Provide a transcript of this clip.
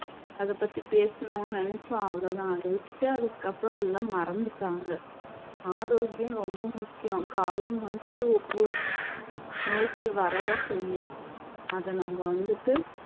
அதை பத்தி பேசணும்னு நினைச்சோம் அவ்வளவுதான் அதை விட்டுட்டு அதுக்கப்புறம் எல்லாம் மறந்துட்டாங்க ஆரோக்கியம் ரொம்ப முக்கியம் காலம் வந்துட்டு ஒவ்வொரு நோய்கள் வர தான் செய்யும் அதை நம்ம வந்துட்டு